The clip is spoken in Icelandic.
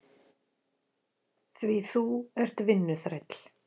Því þú ert vinnuþræll.